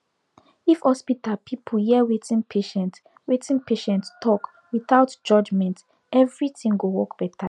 if hospital people hear wetin patient wetin patient talk without judgment everything go work better